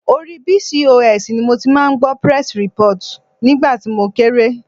Orí Bcos ni mo ti máa ń gbọ́ press report nígbà mo kéré.